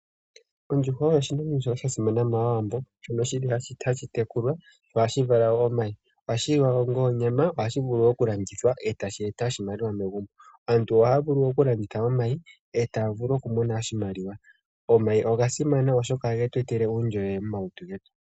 Oondjuhwa oyo oshinima shoka shasimana mawambo, shoka shili hashi tekulwa sho ohashi vala wo omayi, ohashi liwa wo onga onyama sho ohashi vulu okulandithwa eta shi eta oshimaliwa megumbo. Aantu ohaya vulu okulanditha omayi etaya mono oshimaliwa. Omayi ogasimana oshoka ohagetwetele uundjolowele momalutu getu.